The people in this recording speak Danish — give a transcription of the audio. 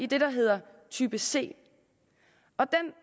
det der hedder type c der